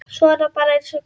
Svona bara eins og gengur.